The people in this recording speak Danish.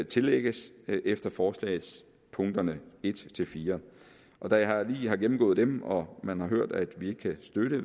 tillægges efter forslagspunkterne en fire og da jeg lige har gennemgået dem og man har hørt at vi ikke kan støtte